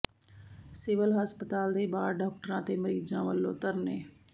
civil ਹਸਪਤਾਲ ਦੇ ਬਾਹਰ ਡਾਕਟਰਾਂ ਤੇ ਮਰੀਜ਼ਾਂ ਵੱਲੋਂ ਧਰਨੇ